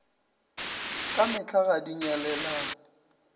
ka mehla ga di nyalelane